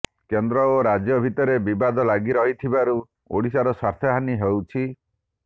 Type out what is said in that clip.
କେନ୍ଦ୍ର ଓ ରାଜ୍ୟ ଭିତରେ ବିବାଦ ଲାଗି ରହିଥିବାରୁ ଓଡିଶାର ସ୍ୱାର୍ଥ ହାନି ହଉଛି